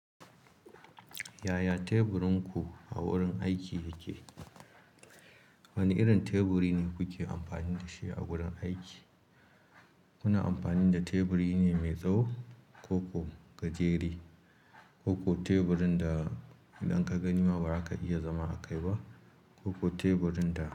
Yaya teburinku a wurin aiki yake? Wane irin teburi ne kuke amfani da shi a wurin aiki? Muna amfani da teburi ne mai tsawo, ko kuwa gajere, ko kuwa teburin da idan ka gani ma ba ka iya zama a kai ba, ko kuwa teburin da.